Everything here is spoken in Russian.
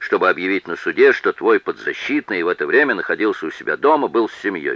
чтобы объявить на суде что твой подзащитный в это время находился у себя дома был с семьёй